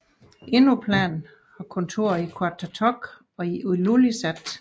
Inuplan har kontorer i Qaqortoq og i Ilulissat